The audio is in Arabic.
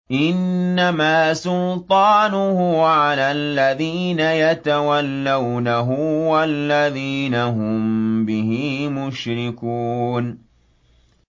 إِنَّمَا سُلْطَانُهُ عَلَى الَّذِينَ يَتَوَلَّوْنَهُ وَالَّذِينَ هُم بِهِ مُشْرِكُونَ